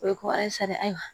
O ye ko a ye sari ayiwa